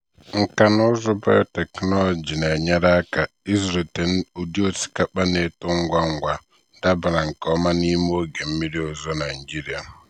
nkà na ụzụ biotechnology na-enyere aka ịzụlite ụdị osikapa na-eto ngwa ngwa dabara nke ọma n'ime oge mmiri ozuzo nigeria.